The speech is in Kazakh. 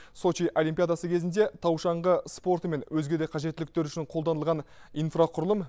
сочи олимпиадасы кезінде тау шаңғы спорты мен өзге де қажеттіліктер үшін қолданылған инфрақұрылым